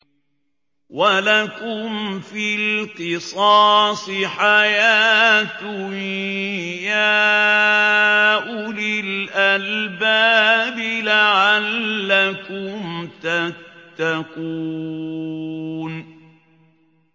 وَلَكُمْ فِي الْقِصَاصِ حَيَاةٌ يَا أُولِي الْأَلْبَابِ لَعَلَّكُمْ تَتَّقُونَ